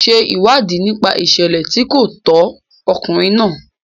Ṣe ìwádìí nípa ìṣẹ̀lẹ̀ tí kò tọ́ ọkùnrin náà.